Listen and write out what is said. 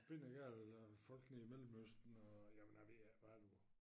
Bindegale folk nede i Mellemøsten og jamen jeg ved ikke hvad du